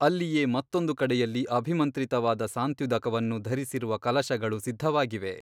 ಅಲ್ಲಿಯೇ ಮತ್ತೊಂದು ಕಡೆಯಲ್ಲಿ ಅಭಿಮಂತ್ರಿತವಾದ ಸಾಂತ್ಯುದಕವನ್ನು ಧರಿಸಿರುವ ಕಲಶಗಳು ಸಿದ್ಧವಾಗಿವೆ.